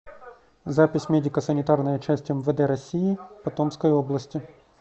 запись медико санитарная часть мвд россии по томской области